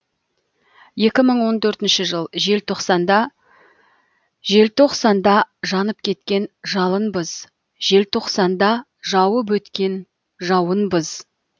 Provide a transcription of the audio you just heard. екі мың он төртінші жыл желтоқсанда желтоқсанда жанып кеткен жалынбыз желтоқсанда жауып өткен жауынбыз